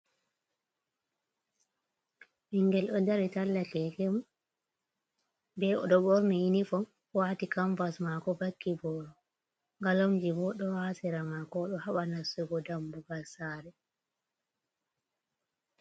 Ɓinngel ɗo dari talla keke mum, be o ɗo ɓorni yinifom ,waati kamvas maako ,vakki booro. Galomji bo ɗo haa sera maako o ɗo haɓa nastugo dammugal saare.